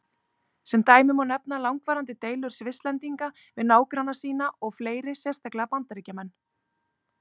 Sem dæmi má nefna langvarandi deilur Svisslendinga við nágranna sína og fleiri, sérstaklega Bandaríkjamenn.